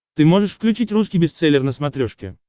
ты можешь включить русский бестселлер на смотрешке